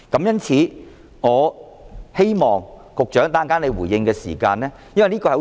因此，我希望局長稍後回應時......